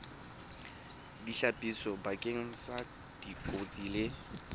ditlhapiso bakeng sa dikotsi le